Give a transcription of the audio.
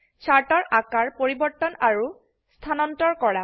চাৰ্টৰ আকাৰ পৰিবৰ্তন আৰু স্থানান্তৰ কৰা